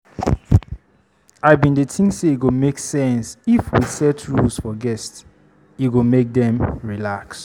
I bin dey think sey e go make sense if we set rules for guests, e go make dem relax.